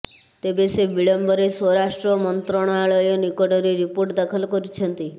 ତେବେ ସେ ବିଳମ୍ବରେ ସ୍ୱରାଷ୍ଟ୍ର ମନ୍ତ୍ରଣାଳୟ ନିକଟରେ ରିପୋର୍ଟ ଦାଖଲ କରିଛନ୍ତି